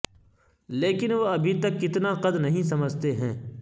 لیکن وہ ابھی تک کتنا قد نہیں سمجھتے ہیں